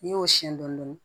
N'i y'o siyɛn dɔɔnin